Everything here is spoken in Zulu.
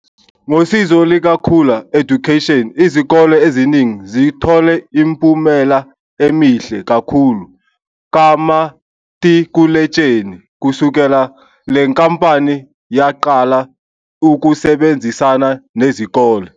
Ngosizo lika Khula Education izikole iziningi zithole imiphumela emihle kakhulu kamatikuletsheni kusukela lenkampani yaqala ukusebenzisana nezikole.